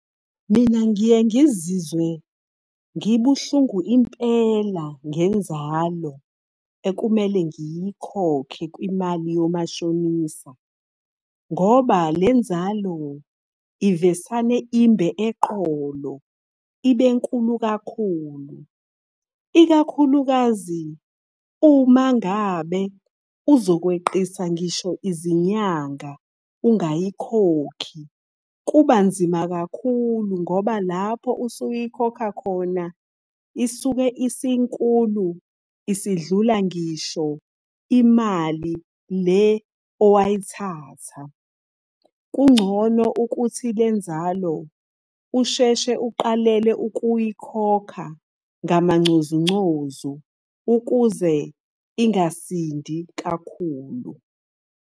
Mina ngiye ngizizwe ngibuhlungu impela ngenzalo ekumele ngiyikhokhe kwimali yomashonisa. Ngoba lenzalo, ivesane imbe eqolo, ibenkulu kakhulu. Ikakhulukazi uma ngabe uzokweqisa ngisho izinyanga ungayikhokhi. Kubanzima kakhulu ngoba lapho usuyikhokha khona, isuke isinkulu isidlula ngisho imali le owayithatha. Kungcono ukuthi le nzalo usheshe uqalele ukuyikhokha ngamancozuncozu ukuze ingasindi kakhulu.